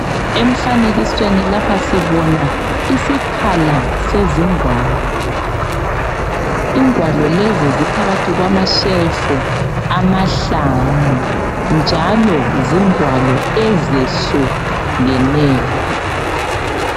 Emfanekisweni lapha sibona isiphala sezingwalo, ingwalo lezi ziphakathi kwamashelufu amahlanu, njalo zingwalo ezehlukeneyo.